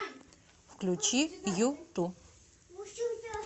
включи юту